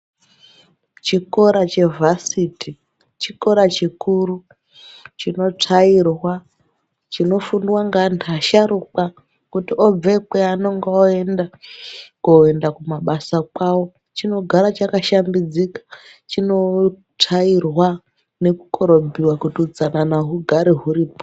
Chikora chevarsity chikora chepaderadera chikora chikuru chinotsvairwa, chinofundwa ngeanhu asharukwa kuti obveikweyo anonga oenda koenda kumabasa kwawo chinogara chakashambidzika chinotsvairwa nekukorobhiwa kuti utsanana hugare huripo.